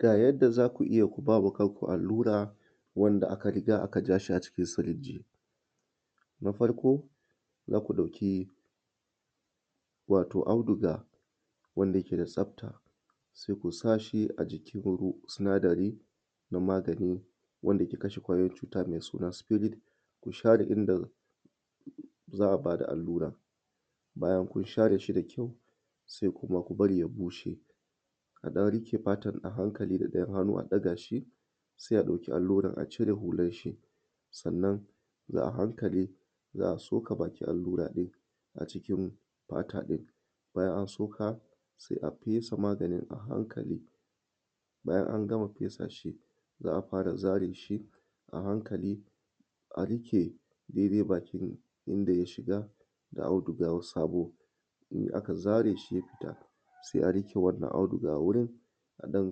Ga yanda za ku iya ku ba wa kanku allura wanda aka riga aka ja a cikin sirinji na farƙo, za ku ɗauki wato audiga wanda yake da tsafta, sai ku sa a cikin sinadari wanan maganin dake kashe kwayoyin cuta, wato sɪfɪrit ku share, inda za a bada alluran, bayan kun share shi da ƙawo, sai kuma a bari ya bushe a ɗan riƙe fatan a haŋkali da ɗayan hannu a ɗaga shi, sai a ɗauki alluran a cire hular shi, sai na a haŋkali za a so:ka bakin alluran a cikin fata ɗin, bayan an soka sai a fesa maganin a haŋkali, bayan an gama fesa shi, za a fara zare shi a haŋkali a riƙe ɗaiɗai bakin inda ya shiga da audiga saboda in aka zare shi ya fita, sai a riƙe wannan audiga a wurin, sai a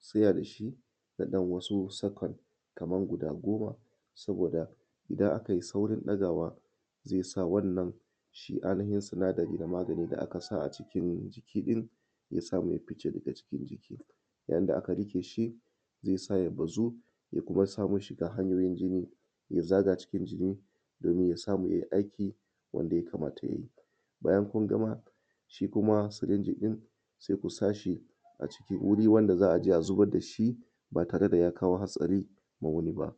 tsaya da shi na ɗan wasu sakan kamar guda goma, saboda idan akai saurin ɗagawa, ze sa wannan shi ainihin sinadarin da aka sa a ciki, ya samu ya fice, yayin da aka riƙe shi, zai samu ya bazu, ya kuma samu shiga hanyoyin jini, ya zaga cikin jini domin ya samu yin aikin da yakamata ya yi. Bayan kunama shi, kuma sirinji ɗin, sai kusa shi a wurin wanda za aje a zubar da shi ba tare da ya kawo hatsari ma wani ba.